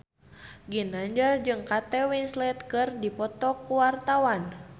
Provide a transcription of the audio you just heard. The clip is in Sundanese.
Ginanjar jeung Kate Winslet keur dipoto ku wartawan